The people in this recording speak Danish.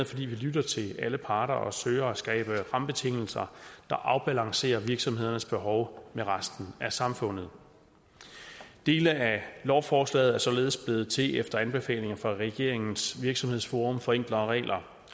fordi vi lytter til alle parter og søger at skabe rammebetingelser der afbalancerer virksomhedernes behov med resten af samfundet dele af lovforslaget er således blevet til efter anbefalinger fra regeringens virksomhedsforum for enklere regler